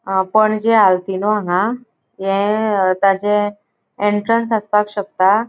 हा पणजे आल्तिनो हांगा. ये ताजे एन्ट्रन्स आसपाक शकता.